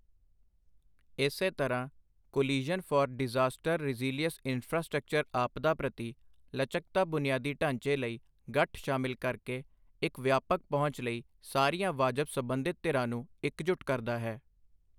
ਇਸੇ ਤਰ੍ਹਾਂ, coalition for disaster resilient infrastructure ਆਪਦਾ ਪ੍ਰਤੀ ਲਚਕਤਾ ਬੁਨਿਆਦੀ ਢਾਂਚੇ ਲਈ ਗੱਠ ਸ਼ਾਮਿਲ ਕਰਕੇ ਇੱਕ ਵਿਆਪਕ ਪਹੁੰਚ ਲਈ ਸਾਰੀਆਂ ਵਾਜਬ ਸਬੰਧਿਤ ਧਿਰਾਂ ਨੂੰ ਇਕਜੁੱਟ ਕਰਦਾ ਹੈ।